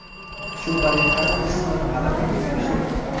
Shu tariqa ispanlar g‘alabaga erishdi.